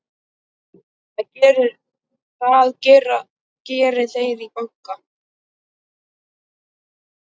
Það geri þeir í banka.